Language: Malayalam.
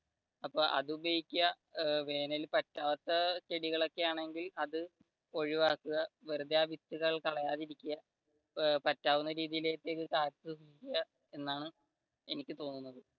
അപ്പോ അതുപയോഗിക്കുക വേനലിൻ പറ്റാത്ത ചെടികൾ ഒക്കെയാണെങ്കിൽ അത് ഒഴിവാക്കുക വെറുതെ ആ വിത്ത് കളയാതിരിക്കുക പറ്റാവുന്ന രീതിയിൽ